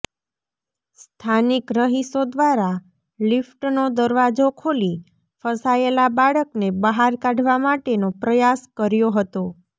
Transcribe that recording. સ્થાનીક રહીશો દ્વારા લિફ્ટનો દરવાજો ખોલી ફસાયેલા બાળકને બહાર કાઢવા માટેનો પ્રયાસ કર્યો હતો